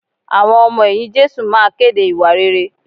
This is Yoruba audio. Àwọn ọmọ ẹ̀yìn Jésù máa kéde ìwà rere